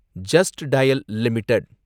just dial limited